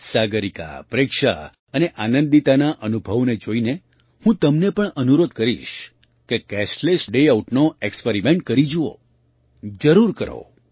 સાગરિકા પ્રેક્ષા અને આનંદિતાના અનુભવોને જોઈને હું તમને પણ અનુરોધ કરીશ કે કેશલેસ ડે આઉટનો ઍક્સ્પેરિમેન્ટ કરી જુઓ જરૂર કરો